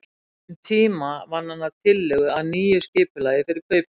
Um tíma vann hann að tillögu að nýju skipulagi fyrir kauptúnið.